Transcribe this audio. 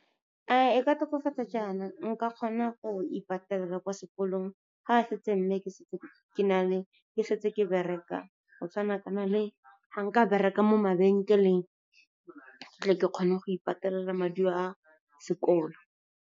A e ka tokafatsa jaana, nka kgona go ipatelela kwa sekolong ga ke setse ke bereka go tshwanakana le ga nka bereka mo mabenkeleng, ke tle ke kgone go ipatelela maduo a sekolo.